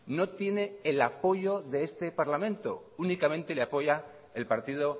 no tiene el apoyo de este parlamento únicamente le apoya el partido